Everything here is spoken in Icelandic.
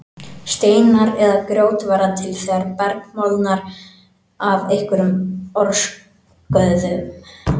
Steinar eða grjót verða til þegar berg molnar af einhverjum orsökum.